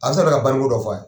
banni ko dɔ f'a ye.